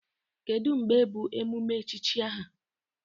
Kedụ mgbe bụ emume echichi aha?